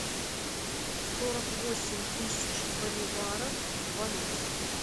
сорок восемь тысяч боливаров в валюте